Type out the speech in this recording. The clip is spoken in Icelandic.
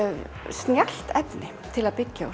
snjallt efni til að byggja